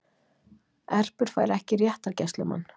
Erpur fær ekki réttargæslumann